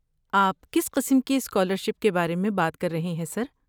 آپ کس قسم کی اسکالرشپ کے بارے میں بات کر رہے ہیں، سر؟